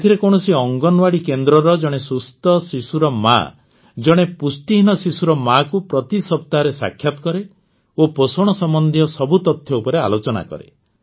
ଏଥିରେ କୌଣସି ଅଙ୍ଗନୱାଡ଼ି କେନ୍ଦ୍ରର ଜଣେ ସୁସ୍ଥ ଶିଶୁର ମାଆ ଜଣେ ପୁଷ୍ଟିହୀନ ଶିଶୁର ମାଆକୁ ପ୍ରତି ସପ୍ତାହରେ ସାକ୍ଷାତ କରେ ଓ ପୋଷଣ ସମ୍ବନ୍ଧୀୟ ସବୁ ତଥ୍ୟ ଉପରେ ଆଲୋଚନା କରେ